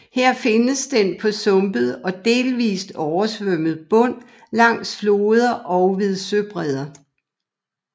Her findes den på sumpet og delvist oversvømmet bund langs floder og ved søbredder